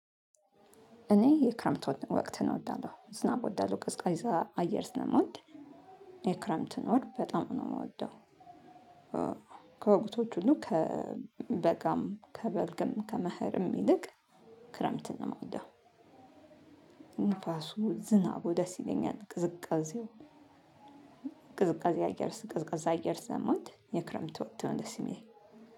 እኔ የክረምት ወር ወቅትን እወዳለሁ። ዝናብ እወዳለሁ ቀዝቃዛ አየር ስለምወድ የክረምትን ወር በጣም ነው የምወደው። ከወቅቶች ሁሉ ከበጋም ከበልግም ከመህርም ይልቅ ክረምትን ነው የምወደው። ንፋሱ ዝናቡ ደስ ይለኛል። ቅዝቃዜው፣ ቅዝቃዜ አየር ቀዝቃዛ አየር ስለምወድ የክረምት ወቅት ነው ደስ የሚለኝ